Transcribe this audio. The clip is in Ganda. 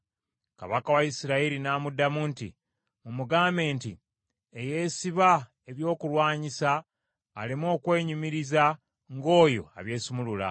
Kabaka wa Isirayiri n’amuddamu nti, “Mumugambe nti, ‘Eyeesiba ebyokulwanyisa aleme okwenyumiriza ng’oyo abyesumulula.’ ”